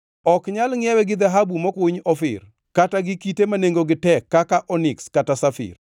Ok nyal ngʼiewe gi dhahabu mokuny Ofir, kata gi kite ma nengogi tek kaka Oniks kata Safir.